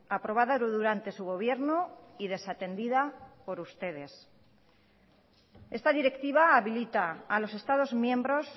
aprobada durante su gobierno y desatendida por ustedes esta directiva habilita a los estados miembros